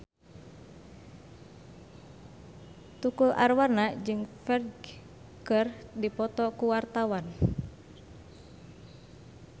Tukul Arwana jeung Ferdge keur dipoto ku wartawan